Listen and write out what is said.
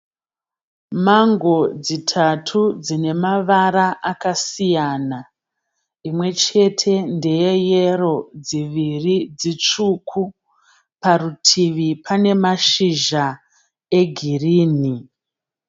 Mango dzitatu dzine mavara akasiyana. Imwe chete ndeye yero dziviri dzitsvuku. Parutivi pane mashizha egirini.